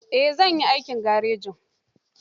Eh, zan yi aikin agajin.